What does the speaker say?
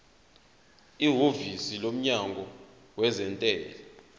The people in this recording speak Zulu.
ihhovisi lomnyango wezentela